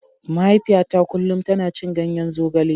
Mahaifiyata kullum tana cin ganyen zogale.